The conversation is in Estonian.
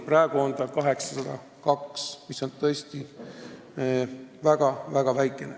Praegu on see 802 eurot, mis on tõesti väga-väga väikene.